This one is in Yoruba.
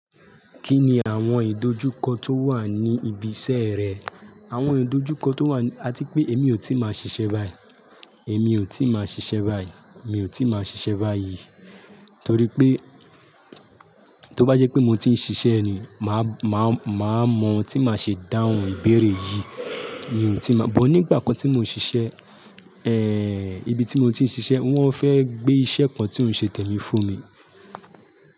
Kí ni àwọn ìdojúkọ tó wà ní ibi iṣẹ́ rẹ? Àwọn ìdojúkọ tó wà ni a ti pé èmi ò tíì máa ṣiṣẹ́ báyìí, èmi ò tíì máa ṣiṣẹ́ báyìí, mi ò tíì máa ṣiṣẹ́ báyìí. Torí pé, tó bá jẹ́ pé mo ti ń ṣiṣẹ́ ni, màá màá mọ ohun tí màá ṣe dáhùn ìbéèrè yìí. Mi ò tí ì máa, bọ́ nígbà kan tí mò ń ṣiṣẹ́, ẹ́ẹ́ ibi tí mo ti ń ṣiṣẹ́ wọ́n fẹ́ gbé iṣẹ́ kan tí ó ń ṣe tẹ́mi fún mi.